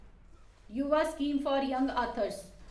Yuva scheme for young authors